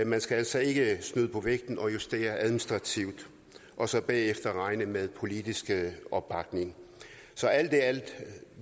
man skal altså ikke snyde på vægten og justere administrativt og så bagefter regne med politisk opbakning så alt i alt